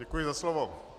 Děkuji za slovo.